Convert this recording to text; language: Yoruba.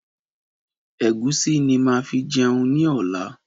Ẹ̀gúsí ni máa fi jẹun ní ọ̀la.